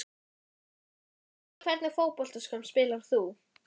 Ég veit það ekki Í hvernig fótboltaskóm spilar þú?